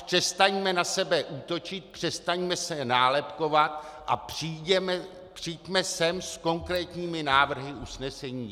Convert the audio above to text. Přestaňme na sebe útočit, přestaňme se nálepkovat a přijďme sem s konkrétními návrhy usnesení.